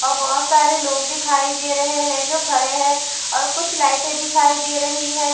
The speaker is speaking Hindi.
और बहोत सारे लोग दिखाई दे रहे है जो खड़े है और कुछ लाइटें दिखाई दे रही है।